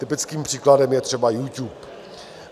Typickým příkladem je třeba YouTube.